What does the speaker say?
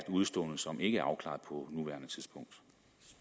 udestående som ikke er afklaret